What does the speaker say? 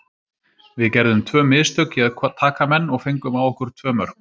Við gerðum tvö mistök í að taka menn og fengum á okkur tvö mörk.